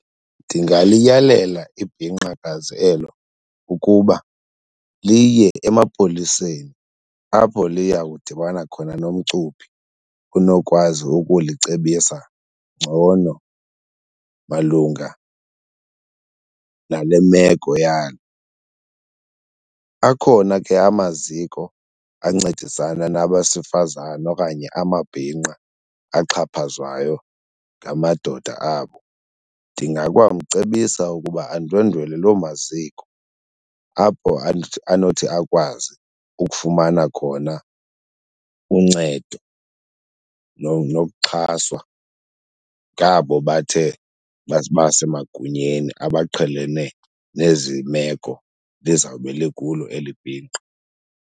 Ndingaliyalela ibhinqakazi elo ukuba liye emapoliseni apho liya kudibana khona nomcuphi unokwazi ukulicebisa ngcono malunga nale meko yalo. Akhona ke amaziko ancedisana nabesifazana okanye amabhinqa axhaphazwayo ngamadoda abo ndingakwamcebisa ukuba andwendwele loo maziko apho anothi akwazi ukufumana khona uncedo nokuxhaswa ngabo bathe basemagunyeni abaqhelene nezi meko lizawube likulo eli bhinqa.